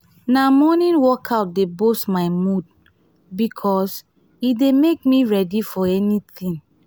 na morning workout dey boost my mood bikos e dey make me ready for anything.